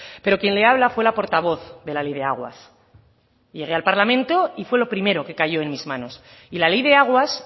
pero quien le habla fue la portavoz de la ley de aguas llegué al parlamento y fue lo primero que cayó en mis manos y la ley de aguas